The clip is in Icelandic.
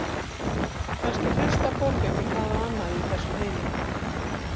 Kannski hlustar fólk ekki hvað á annað í þessum heimi.